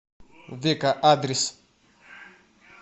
века адрес